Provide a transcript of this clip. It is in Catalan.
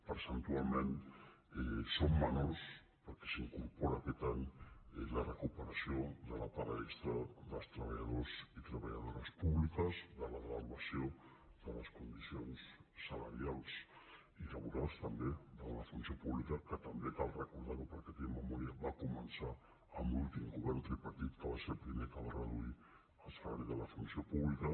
percentualment són menors perquè s’incor·pora aquest any la recuperació de la paga extra dels treballadors i treballadores públiques de la devaluació de les condicions salarials i laborals també de la fun·ció pública que també cal recordar·ho perquè tenim memòria va començar amb l’últim govern tripartit que va ser el primer que va reduir el salari de la fun·ció pública